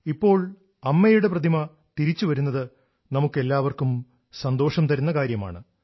ഇപ്പോൾ അമ്മയുടെ പ്രതിമ തിരിച്ചുവരുന്നത് നമുക്കെല്ലാവർക്കും സന്തോഷം തരുന്ന കാര്യമാണ്